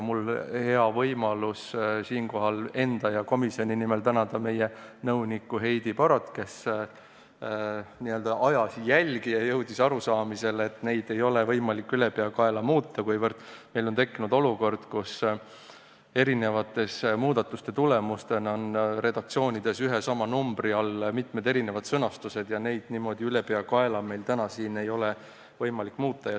Mul on hea võimalus siinkohal enda ja komisjoni nimel tänada meie nõunikku Heidi Barotit, kes ajas jälgi ja jõudis arusaamisele, et neid seadusi ei ole võimalik ülepeakaela muuta, kuna meil on tekkinud olukord, kus eri muudatuste tagajärjel on redaktsioonides ühe ja sama numbri all mitmed erinevad sõnastused ja neid niimoodi ülepeakaela täna ei ole võimalik muuta.